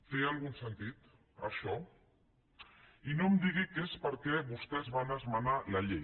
té algun sentit això i no em digui que és perquè vostès van esmenar la llei